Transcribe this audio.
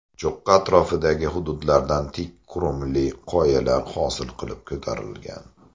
Cho‘qqi atrofdagi hududlardan tik qurumli qoyalar hosil qilib ko‘tarilgan.